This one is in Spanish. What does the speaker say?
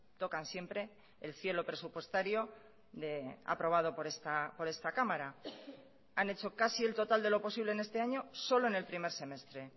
tocan siempre el cielo presupuestario de aprobado por esta cámara han hecho casi el total de lo posible en este año solo en el primer semestre